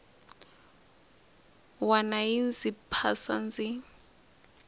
wana yi ndzi phasa ndzi